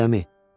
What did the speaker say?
Adəmi.